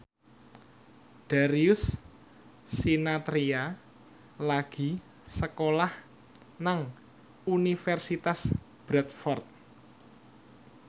Darius Sinathrya lagi sekolah nang Universitas Bradford